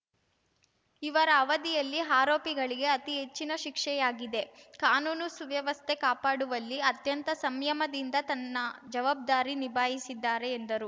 ಇವರ ಅವಧಿಯಲ್ಲಿ ಆರೋಪಿಗಳಿಗೆ ಅತಿ ಹೆಚ್ಚಿನ ಶಿಕ್ಷೆಯಾಗಿದೆ ಕಾನೂನು ಸುವ್ಯವಸ್ಥೆ ಕಾಪಾಡುವಲ್ಲಿ ಅತ್ಯಂತ ಸಂಯಮದಿಂದ ತನ್ನ ಜವಾಬ್ದಾರಿ ನಿಭಾಯಿಸಿದ್ದಾರೆ ಎಂದರು